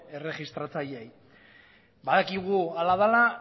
erregistratzaileei badakigu hala dela